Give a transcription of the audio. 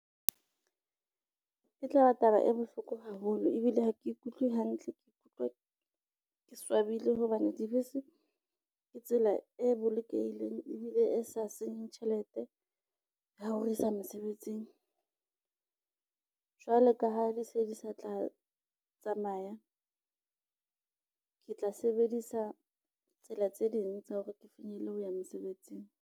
E tlaba taba e bohloko haholo ebile ha ke ikutlwe hantle, ke ikutlwa ke swabile hobane dibese ke tsela e bolokehileng ebile e sa senyeng tjhelete ya ho re isa mesebetsing. Jwalo ka ha di se di sa tla tsamaya, ke tla sebedisa tsela tse ding tsa hore ke finyelle ho ya mosebetsing.